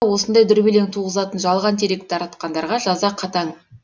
осындай дүрбелең туғызатын жалған дерек таратқандарға жаза қатаң